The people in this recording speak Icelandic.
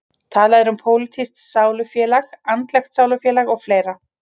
Talað er um pólitískt sálufélag, andlegt sálufélag og fleira.